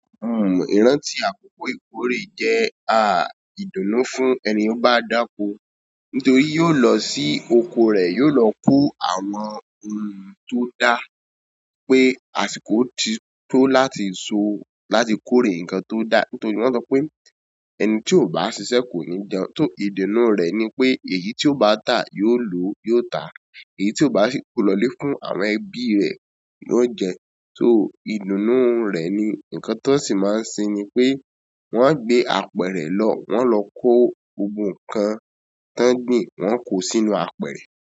Uhm, ìrántí àkókò ìkórè jẹ́ a ìdùnnú fún ẹni ó bá dákó. Nítorí yóò lọ sí oko rẹ̀, yóò lọ kó àwọn ohun tó da. Pé àsìkò tí tó láti so láti kórè nǹkan tó dà. Torí wọn sọ pé ẹni tí ò bá ṣiṣẹ́ kò ní jẹun. Tó ìdùnnú rẹ̀ ni pé èyí tí ó bá tà yóò lo, yóò tà. Èyí tí ó bá si kó lọlé fún àwọn ẹbí rẹ̀ wọ́n o jẹ. Tó ìdùnnú rẹ̀ ni ǹnkan tí wọ́n sì máa ń ṣe ni pé wọ́n á gbé apẹ̀rẹ̀ lọ, wọ́n lọ kó gbogbo nǹkan tán gbin, wọ́n kó sínú apẹ̀rẹ̀.